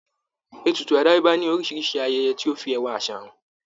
Ètùtù àdáyébá ní oríṣiríṣi ayẹyẹ tó fi ẹwà àṣà hàn.